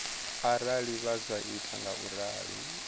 arali vha sa ita ngauralo